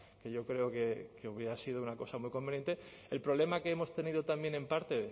que yo creo que hubiera sido una cosa muy conveniente el problema que hemos tenido también en parte